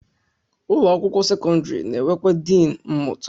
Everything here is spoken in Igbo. Ụlọ akwụkwọ sekọndịrị na-enwekwa diin mmụta